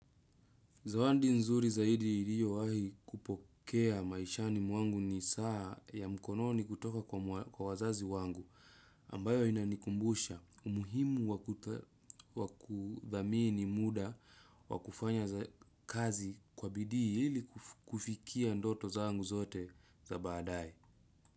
Zawadi nzuri zaidi iliyowahi kupokea maishani mwangu ni saa ya mkononi kutoka kwa wazazi wangu ambayo inanikumbusha umuhimu wa kudhamini ni muda wa kufanya kazi kwa bidii ili kufikia ndoto zangu zote za baadaye.